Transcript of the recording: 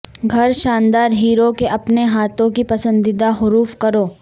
گھر شاندار ہیرو کے اپنے ہاتھوں کی پسندیدہ حروف کروں